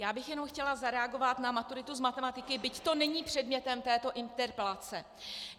Já bych jenom chtěla zareagovat na maturitu z matematiky, byť to není předmětem této interpelace.